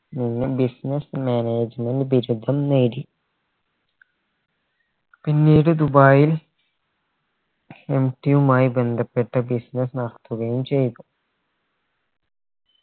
നിന്ന് business management ബിരുദം നേടി പിന്നീട് ദുബായിൽ MT യുമായി ബന്ധപ്പെട്ട business നടത്തുകയും ചെയ്തു